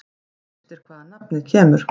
Óvíst er hvaðan nafnið kemur.